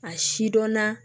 A si dɔnna